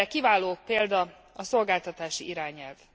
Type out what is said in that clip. Erre kiváló példa a szolgáltatási irányelv.